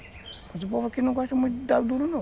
Mas o povo aqui não gosta muito de dar o duro, não.